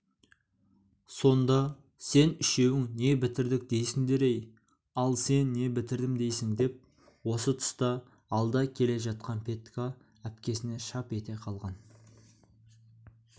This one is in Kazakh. сонда сен үшеуің не бітірдік дейсіңдер-ей ал сен не бітірдім дейсің деп осы тұста алда келе жатқан петька әпкесіне шап ете қалған